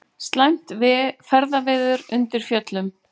Slæmt ferðaveður undir Fjöllunum